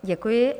Děkuji.